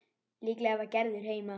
Líklega var Gerður bara heima.